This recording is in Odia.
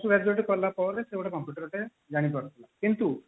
graduate କଲା ପରେ ସେ ଗୋଟେ computer ଟେ ଜାଣିପାରୁଥିଲା କିନ୍ତୁ